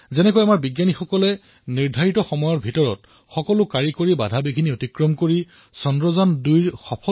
যিদৰে আমাৰ বৈজ্ঞানিকসকলে অভিলেখ সময়ত দিবানৈশ এক কৰি সকলো প্ৰযু্ক্তিগত সমস্যা ঠিক কৰি চন্দ্ৰায়ন২ক উৎক্ষেপণ কৰিলে এয়া অতিশয় গৌৰৱৰ কথা